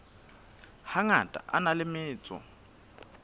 hangata a na le metso